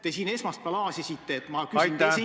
Te siin esmaspäeval aasisite, et ma küsin protsendi täpsusega.